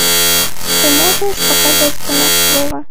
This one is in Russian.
ты можешь показать кино слово